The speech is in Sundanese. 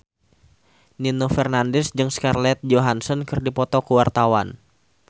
Nino Fernandez jeung Scarlett Johansson keur dipoto ku wartawan